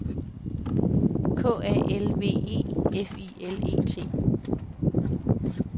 K A L V E F I L E T